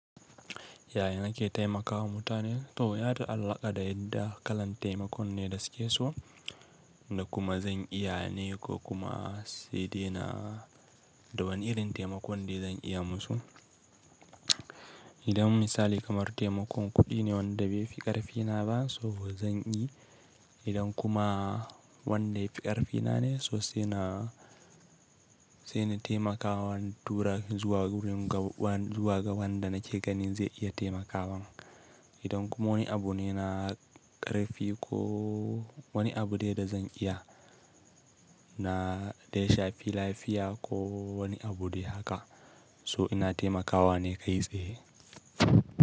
Ya yana ke taimakawa mutane? To, yata alaƙa da yadda kalan taimakon ne da suke so da kuma zan iya ne ko kuma sai dai na da wani irin taimakon dai zan iya musu. Idan misali kamar taimakon kuɗi ne wanda bai fi ƙarfi na ba, so bo zan yi. Idan kuma wanda yafi ƙarfi na ne so sai na taimakawa tura zuwa wurin gaban da nake gani zai iya taimakawa. Idan kuma wani abu ne na ƙarfi ko wani abu dai da zan iya da ya shafi lafiya ko wani abu dai haka so ina taimakawa ne kai tsaye.